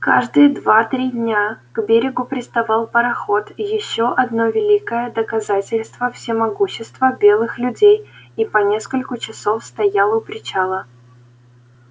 каждые два три дня к берегу приставал пароход ещё одно великое доказательство всемогущества белых людей и по нескольку часов стоял у причала